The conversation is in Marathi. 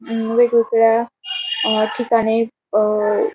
अम वेगवेगळ्या अह ठिकाणी अह--